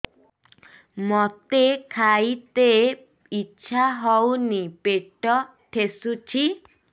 ମୋତେ ଖାଇତେ ଇଚ୍ଛା ହଉନି ପେଟ ଠେସୁଛି